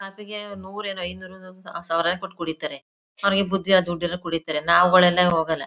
ಕಾಫಿಗೇ ನೂರು ಏನು ಐನೂರು ಸಾವಿರ ಕೊಟ್ಟು ಕುಡಿತಾರೆ. ಅವ್ರಿಗೆ ಬುದ್ದಿ ಇಲ್ಲ ದುಡ್ಡಿಲ್ಲ ಕುಡಿತಾರೆ. ನಾವ್ಗಳು ಹೋಗಲ್ಲ.